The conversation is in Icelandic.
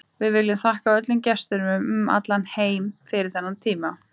Við viljum þakka öllum gestunum um allan heim fyrir þennan tíma.